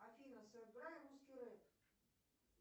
афина сыграй русский рэп